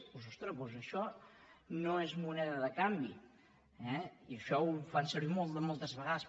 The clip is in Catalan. doncs ostres això no és moneda de canvi i això ho fan servir moltes vegades